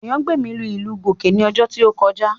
Ayangbemi lu ìlù Gòjé ní ọ̀sẹ̀ tí ó kọjá